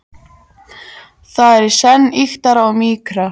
Það er í senn ýktara og mýkra.